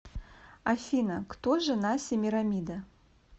афина кто жена семирамида